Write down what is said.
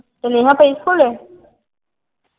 ਤੇ ਨੇਹਾ ਪਈ ਸਕੂਲੇ।